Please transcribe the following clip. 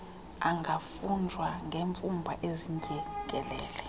angafunjwa ngemfumba ezindyengelele